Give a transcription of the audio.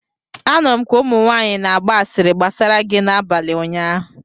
Anụrụm ka ụmụnwanyị na-agba asịrị gbasara gị n'abalị ụnyaahụ